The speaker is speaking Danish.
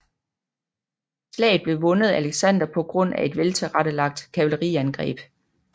Slaget blev vundet af Alexander på grund af et veltilrettelagt kavaleriangreb